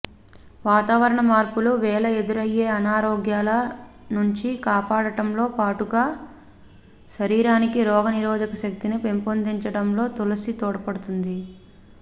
వాతావరణ మార్పుల వేళ ఎదురయ్యే అనారోగ్యాల నుంచి కాపాడటంతో పాటుగా శరీరానికి రోగ నిరోధక శక్తిని పెంపొందించడంలో తులసి తోడ్పడుతుంది